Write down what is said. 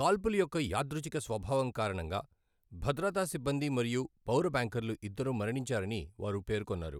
కాల్పుల యొక్క యాదృచ్ఛిక స్వభావం కారణంగా, భద్రతా సిబ్బంది మరియు పౌర బ్యాంకర్లు ఇద్దరూ మరణించారని వారు పేర్కొన్నారు.